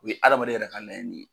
U ye adamaden yɛrɛ ka layini ye.